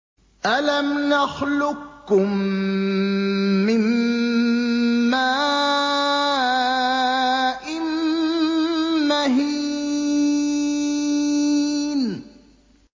أَلَمْ نَخْلُقكُّم مِّن مَّاءٍ مَّهِينٍ